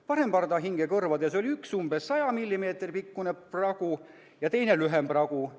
Parempardahinge kõrvades oli üks umbes 100 mm pikkune pragu ja teine lühem pragu.